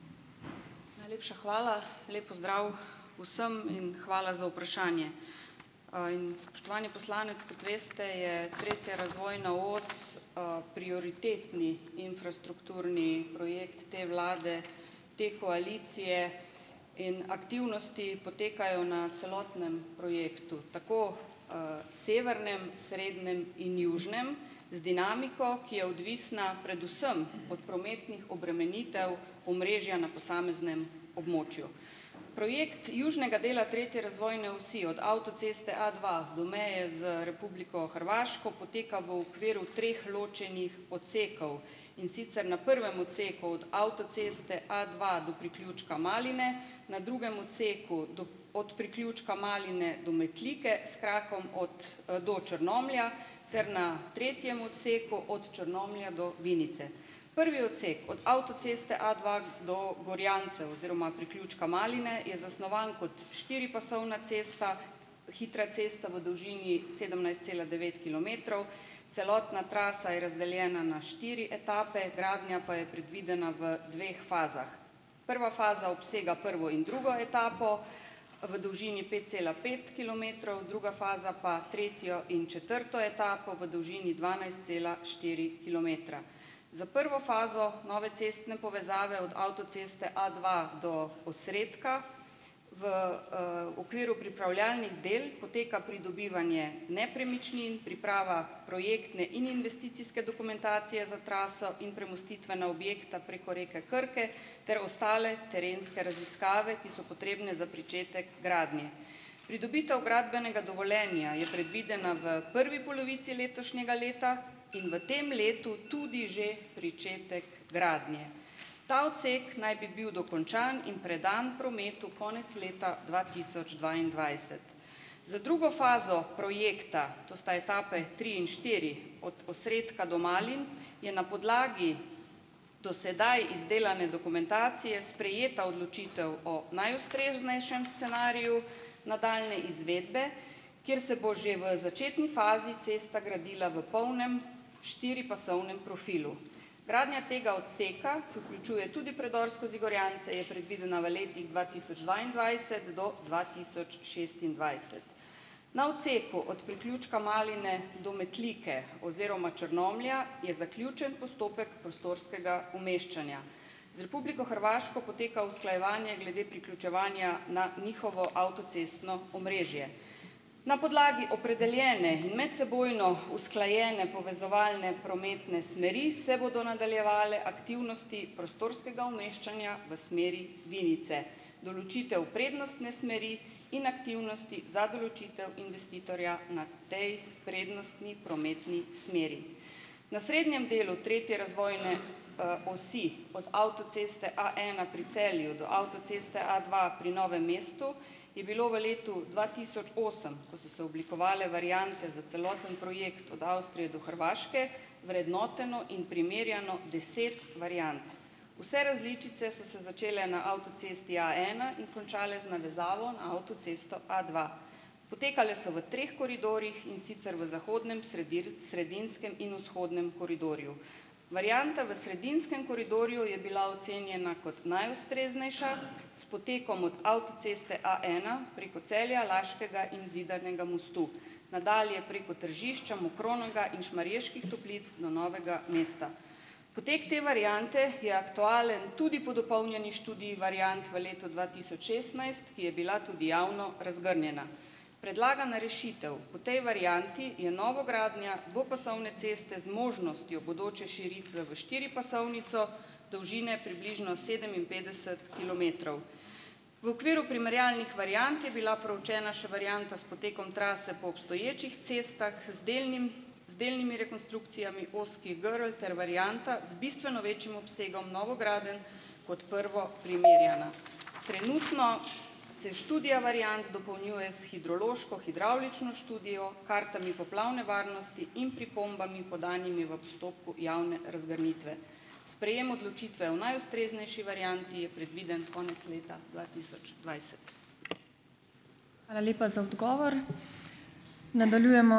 Najlepša hvala, lep pozdrav vsem in hvala za vprašanje. In spoštovani poslanec, kot veste, je tretja razvojna os, prioritetni infrastrukturni projekt te vlade, te koalicije in aktivnosti potekajo na celotnem projektu - tako, severnem, srednem in južnem - z dinamiko, ki je odvisna predvsem od prometnih obremenitev omrežja na posameznem območju. Projekt južnega dela tretje razvojne osi, od avtoceste A dva do meje z Republiko Hrvaško poteka v okviru treh ločenih odsekov. In sicer, na prvem odseku od avtoceste A dva do priključka Maline, na drugem odseku do od priključka Maline do Metlike, s krakom od, do Črnomlja ter na tretjem odseku, od Črnomlja do Vinice. Prvi odsek od avtoceste A dva do Gorjancev oziroma priključka Maline je zasnovan kot štiripasovna cesta, hitra cesta, v dolžini sedemnajst cela devet kilometrov. Celotna trasa je razdeljena na štiri etape, gradnja pa je predvidena v dveh fazah. Prva faza obsega prvo in drugo etapo, v dolžini pet cela pet kilometrov, druga faza pa tretjo in četrto etapo, v dolžini dvanajst cela štiri kilometra. Za prvo fazo nove cestne povezave od avtoceste A dva do Osredka v, okviru pripravljalnih del poteka pridobivanje nepremičnin, priprava projektne in investicijske dokumentacije za traso in premostitvena objekta preko reke Krke ter ostale terenske raziskave, ki so potrebne za pričetek gradnje. Pridobitev gradbenega dovoljenja je predvidena v prvi polovici letošnjega leta in v tem letu tudi že pričetek gradnje. Ta odsek naj bi bil dokončan in predan prometu konec leta dva tisoč dvaindvajset. Za drugo fazo projekta - to sta etapi tri in štiri - od Osredka do Malin je na podlagi do sedaj izdelane dokumentacije sprejeta odločitev o najustreznejšem scenariju nadaljnje izvedbe, kjer se bo že v začetni fazi cesta gradila v polnem štiripasovnem profilu. Gradnja tega odseka, ki vključuje tudi predor skozi Gorjance, je predvidena v letih dva tisoč dvaindvajset do dva tisoč šestindvajset. Na odseku od priključka Maline do Metlike oziroma Črnomlja je zaključen postopek prostorskega umeščanja. Z Republiko Hrvaško poteka usklajevanje glede priključevanja na njihovo avtocestno omrežje. Na podlagi opredeljene in medsebojno usklajene povezovalne prometne smeri se bodo nadaljevale aktivnosti prostorskega umeščanja v smeri Vinice, določitev prednostne smeri in aktivnosti za določitev investitorja na tej prednostni prometni smeri. Na srednjem delu tretje razvojne, osi, od avtoceste A ena pri Celju do avtoceste A dva pri Novem mestu, je bilo v letu dva tisoč osem, ko so se oblikovale variante za celoten projekt od Avstrije do Hrvaške, vrednoteno in primerjano deset variant. Vse različice so se začele na avtocesti A ena in končale z navezavo na avtocesto A dva. Potekale so v treh koridorjih, in sicer v zahodnem, sredinskem in vzhodnem koridorju. Varianta v sredinskem koridorju je bila ocenjena kot najustreznejša, s potekom od avtoceste A ena preko Celja, Laškega in Zidanega mostu, nadalje preko Tržišča, Mokronoga in Šmarjeških Toplic do Novega mesta. Potek te variante je aktualen tudi po dopolnjeni študiji variant v letu dva tisoč šestnajst, ki je bila tudi javno razgrnjena. Predlagana rešitev po tej varianti je novogradnja dvopasovne ceste z možnostjo bodoče širitve v štiripasovnico, dolžine približno sedeminpetdeset kilometrov. V okviru primerjalnih variant je bila proučena še varianta s potekom trase po obstoječih cestah z delnim z delnimi rekonstrukcijami ozkih grl ter varianta z bistveno večjim obsegom novogradenj kot prvo primerjana. Trenutno se študija variant dopolnjuje s hidrološko-hidravlično študijo, kartami poplavne varnosti in pripombami, podanimi v postopku javne razgrnitve. Sprejem odločitve o najustreznejši varianti je predviden konec leta dva tisoč dvajset.